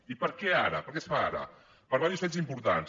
i per què ara per què es fa ara per diversos fets importants